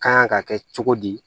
Kan ka kɛ cogo di